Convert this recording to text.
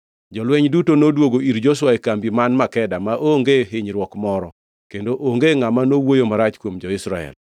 Jolweny duto noduogo ir Joshua e kambi man Makeda maonge hinyruok moro, kendo onge ngʼama nowuoyo marach kuom jo-Israel.